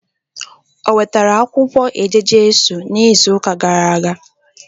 O wetara akwukwo eje-Jesu n'izu uka gara aga?